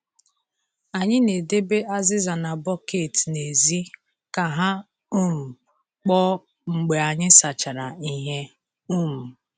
Anyị na-edebe azịza na bọket n’èzí ka ha um kpoo mgbe anyị sachara ihe. um